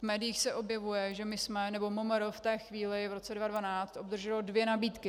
V médiích se objevuje, že my jsme, nebo MMR v té chvíli, v roce 2012, obdrželo dvě nabídky.